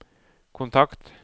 kontakt